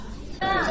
Samirə deyir.